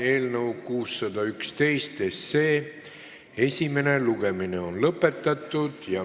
Eelnõu 611 esimene lugemine on lõppenud.